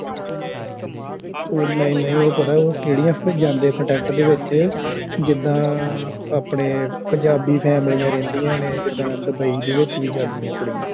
ਉਹ ਨਹੀਂ ਨਹੀਂ ਉਹ ਪਤਾ ਕਿਹੜੀ ਆ ਕੰਟੈਟ ਦੇ ਵਿੱਚ ਜਿੰਦਾ ਆਪਣੇ ਪੰਜਾਬੀ ਫੈਮਿਲਯਾ ਰਹਿੰਦਿਆ ਨੇ ਜਿੰਦਾ ਦੁਬਈ ਦੇ ਵਿਚ ਵੀ ਜਾਂਦਿਆ ਕੁੜੀਆਂ